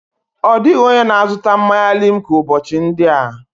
Ọ dịghị onye na-azụta mmanya limca ụbọchị ndị a.